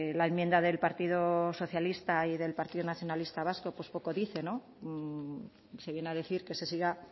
la enmienda del partido socialista y del partido nacionalista vasco pues poco dice no se viene a decir que se siga